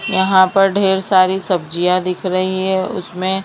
यहां पर ढेर सारी सब्जियां दिख रही है उसमें--